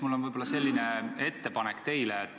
Mul on teile selline ettepanek.